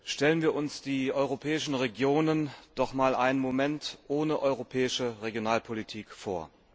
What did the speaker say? Stellen wir uns die europäischen Regionen doch einmal einen Moment ohne europäische Regionalpolitik vor.